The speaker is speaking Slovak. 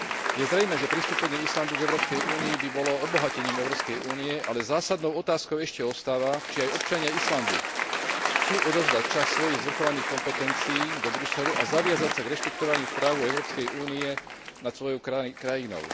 Je zrejmé, že pristúpenie Islandu k Európskej únii by bolo obohatením Európskej únie, ale zásadnou otázkou ešte ostáva, či aj občania Islandu chcú odovzdať časť svojich zvrchovaných kompetencií do Bruselu, a zaviazať sa k rešpektovaniu práv Európskej únie nad svojou krajinou.